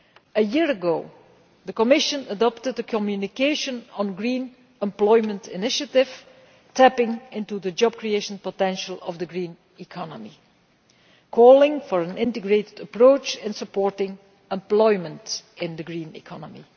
A year ago, the Commission adopted the communication on the Green Employment Initiative, tapping into the job creation potential of the green economy, calling for an integrated approach and supporting employment in the green economy.